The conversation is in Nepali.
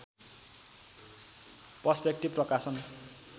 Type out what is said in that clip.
पर्सपेक्टिभ प्रकाशन